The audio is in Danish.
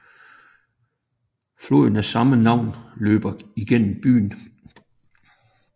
Floden af samme navn løber igennem byen